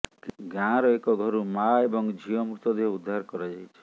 ଗାଁର ଏକ ଘରୁ ମାଆ ଏବଂ ଝିଅ ମୃତଦେହ ଉଦ୍ଧାର କରାଯାଇଛି